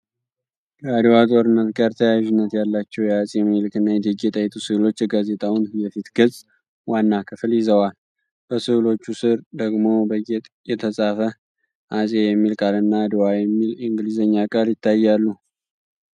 ከአድዋ ጦርነት ጋር ተያያዥነት ያላቸው የዐፄ ምኒልክና የእቴጌ ጣይቱ ሥዕሎች የጋዜጣውን የፊት ገጽ ዋና ክፍል ይዘዋል፡፡ በሥዕሎቹ ሥር ደግሞ በጌጥ የተጻፈ "አፄ" የሚል ቃልና "ADWA" የሚል የእንግሊዝኛ ቃል ይታያሉ።